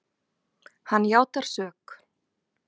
Hann játar sök.